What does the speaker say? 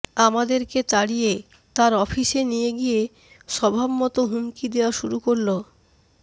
আমাদেরকে তাড়িয়ে তার অফিসে নিয়ে গিয়ে স্বভাবমত হুমকি দেয়া শুরু করল